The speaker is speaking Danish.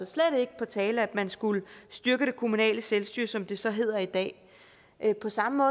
slet ikke på tale at man skulle styrke det kommunale selvstyre som det så hedder i dag på samme